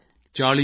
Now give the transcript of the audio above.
ਉਮਰ 40 ਸਾਲ